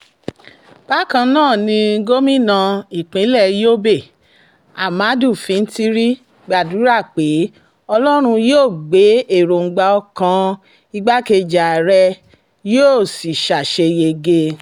bákan náà ni gómìnà ìpínlẹ̀ yobe ahmadu fintiri gbàdúrà pé ọlọ́run yóò gba èròǹgbà ọkàn igbákejì ààrẹ yóò sì ṣàṣeyege